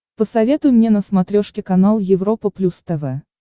посоветуй мне на смотрешке канал европа плюс тв